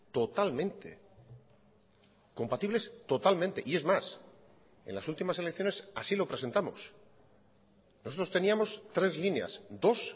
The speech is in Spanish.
totalmente compatibles totalmente y es más en las últimas elecciones así lo presentamos nosotros teníamos tres líneas dos